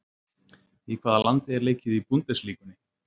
Í hvaða landi er leikið í Bundesligunni?